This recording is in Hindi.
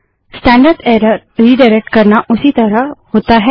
स्टैंडर्ड एरर रिडाइरेक्ट करना उसी तरह होता है